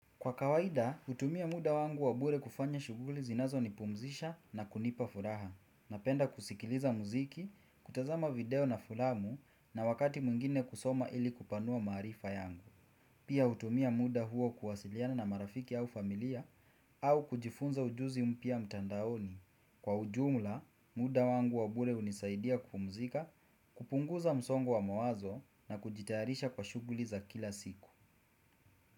Kwa kawaida, hutumia muda wangu wa bure kufanya shuguli zinazo nipumzisha na kunipa furaha. Napenda kusikiliza muziki, kutazama video na furamu na wakati mwngine kusoma ili kupanua maarifa yangu. Pia utumia muda huo kuwasiliana na marafiki au familia au kujifunza ujuzi mpya mtandaoni. Kwa ujumla, muda wangu wa bure hunisaidia kupumzika, kupunguza msongo wa mawazo na kujitayarisha kwa shughuli za kila siku.